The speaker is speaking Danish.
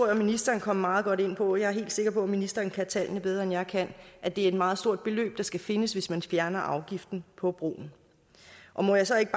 jeg ministeren kom meget godt ind på og jeg er helt sikker på at ministeren kan tallene bedre end jeg kan at det er et meget stort beløb der skal findes hvis man fjerner afgiften på broen må jeg så ikke